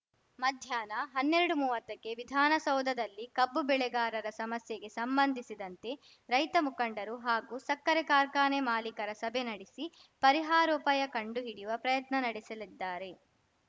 ಮಧ್ಯಾಹ್ನ ಹನ್ನೆರಡುಮುವತ್ತಕ್ಕೆ ವಿಧಾನಸೌಧದಲ್ಲಿ ಕಬ್ಬು ಬೆಳೆಗಾರರ ಸಮಸ್ಯೆಗೆ ಸಂಬಂಧಿಸಿದಂತೆ ರೈತ ಮುಖಂಡರು ಹಾಗೂ ಸಕ್ಕರೆ ಕಾರ್ಖಾನೆ ಮಾಲಿಕರ ಸಭೆ ನಡೆಸಿ ಪರಿಹಾರೋಪಾಯ ಕಂಡು ಹಿಡಿಯುವ ಪ್ರಯತ್ನ ನಡೆಸಲಿದ್ದಾರೆ